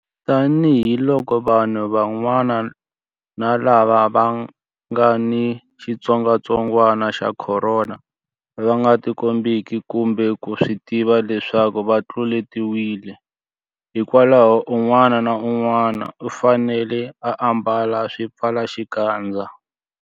Tanihiloko vanhu vanwana lava nga ni xitsongwantsongwana xa Khorona va nga tikombeki kumbe ku swi tiva leswaku va tluletiwile, hikwalaho un'wana na un'wana u fanele ku ambala xipfalaxikandza.